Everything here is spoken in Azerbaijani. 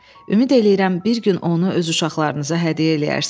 Ümid eləyirəm bir gün onu öz uşaqlarınıza hədiyyə eləyərsiz.